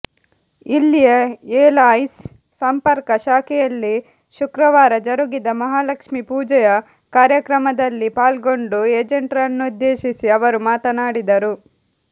ಇಲ್ಲಿಯ ಎಲ್ಆಯ್ಸಿ ಸಂಪರ್ಕ ಶಾಖೆಯಲ್ಲಿ ಶುಕ್ರವಾರ ಜರುಗಿದ ಮಹಾಲಕ್ಷ್ಮೀ ಪೂಜೆಯ ಕಾರ್ಯಕ್ರಮದಲ್ಲಿ ಪಾಲ್ಗೊಂಡು ಏಜೆಂಟರನ್ನುದ್ದೇಶಿಸಿ ಅವರು ಮಾತನಾಡಿದರು